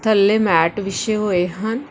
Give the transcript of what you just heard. ਥੱਲੇ ਮੈਟ ਵਿਛੇ ਹੋਏ ਹਨ।